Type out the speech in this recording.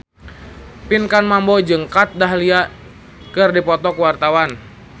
Pinkan Mambo jeung Kat Dahlia keur dipoto ku wartawan